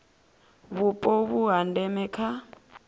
vhupo vhu ha ndeme kha